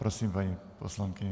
Prosím, paní poslankyně.